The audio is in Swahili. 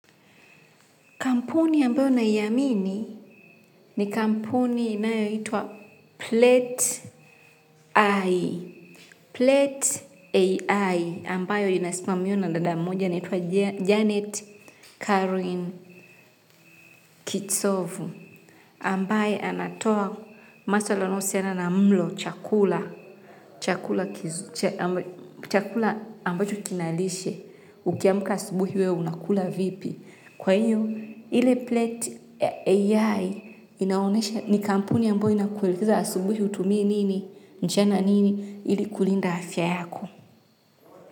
Kampuni ambayo naiamini ni kampuni inayoitwa Plet-I. Plet-AI ambayo inasimamiwa na dada mmoja anaitwa Janet carolyne Kitsovu. Ambaye anatoa maswala yanayohusiana na mlo chakula. Chakula chakula ambacho kinalishe. Ukiamka asubuhi we huwa unakula vipi. Kwa hiyo, ile plate ya AI inaonesha ni kampuni ambayo inakuelekeza asubuhi utumie nini, mchana nini ili kulinda afya yako.